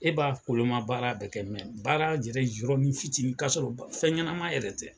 E b'a kolonma baara bɛɛ kɛ mɛ baara yɛrɛ yɔrɔnin fitinin k'asɔrɔ fɛn ɲɛnama yɛrɛ tɛ.